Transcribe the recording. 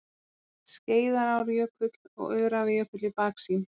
Skeiðarárjökull og Öræfajökull í baksýn.